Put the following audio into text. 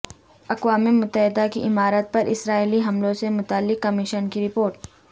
اقوام متحدہ کی عمارت پر اسرائیلی حملوں سے متعلق کمیشن کی رپورٹ